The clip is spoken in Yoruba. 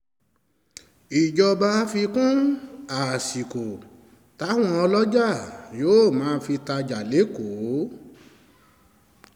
ìjọba fi kún àsìkò táwọn ọlọ́jà yóò máa fi tajà lẹ́kọ̀ọ́